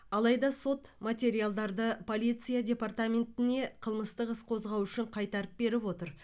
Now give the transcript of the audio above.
алайда сот материалдарды полиция департаментіне қылмыстық іс қозғау үшін қайтарып беріп отыр